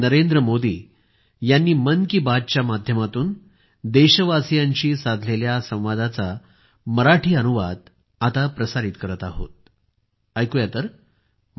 नवी दिल्ली 28 फेब्रुवारी 2021